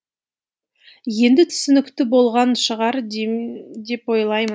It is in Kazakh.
енді түсінікті болған шығар деп ойлаймын